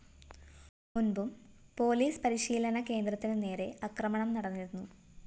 മുന്‍പും police പരിശീലന കേന്ദ്രത്തിനു നേരെ ആക്രമണം നടന്നിരുന്നു